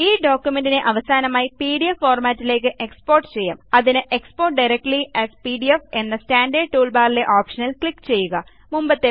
ഈ ഡോക്യുമെന്റ്നെ അനായാസമായി പിഡിഎഫ് ഫോർമാറ്റിലേയ്ക്ക് എക്സ്പോർട്ട് ചെയ്യാംഅതിന് എക്സ്പോർട്ട് ഡയറക്ട്ലി എഎസ് പിഡിഎഫ് എന്ന സ്റ്റാൻറേർഡ് ടൂൾബാറിലെ ഓപ്ഷനിൽ ക്ലിക്ക് ചെയ്യുക